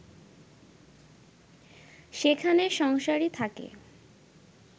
সেখানে সংসারী থাকে